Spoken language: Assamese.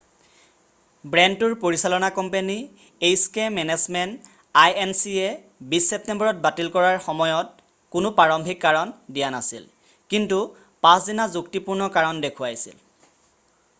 বেণ্ডটোৰ পৰিচালনা কোম্পানী এইছকে মেনেজমেণ্ট আইএনচিয়ে 20 ছেপ্তেম্বৰত বাতিল কৰাৰ সময়ত কোনো প্ৰাৰম্ভিক কাৰণ দিয়া নাছিল কিন্ত পাছদিনা যুক্তিপূৰ্ণ কাৰণ দেখুৱাইছিল